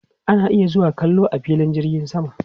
Ana iya zuwa kallo a filin jirgin sama